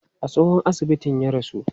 A tsohon asibitin ya rasu?